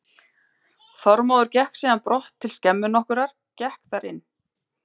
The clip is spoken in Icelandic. Þormóður gekk síðan í brott til skemmu nokkurrar, gekk þar inn.